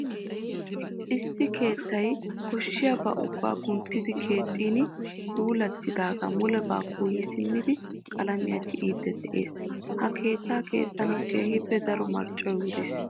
Issi keettay koshshiyabaa ubbaa kunttidi keexxin polettidaagaa mulebaa kuuyi simmidi qalaamiya tiyiiddi de'ees. Ha keettaa keexxanawu keehippe daro marccoy wuriis.